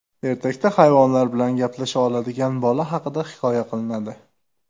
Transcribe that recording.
Ertakda hayvonlar bilan gaplasha oladigan bola haqida hikoya qilinadi.